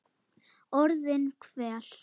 Orðin hvell.